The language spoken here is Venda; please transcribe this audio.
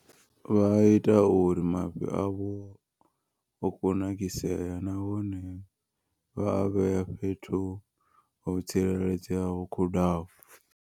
Vha ita uri mafhi avho o kunakisea nahone vha a vhea fhethu ho tsireledzeaho ho khudano.